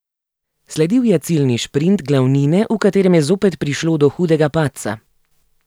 Sledil je ciljni šprint glavnine, v katerem je zopet prišlo do hudega padca.